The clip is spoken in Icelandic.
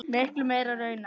Miklu meira raunar.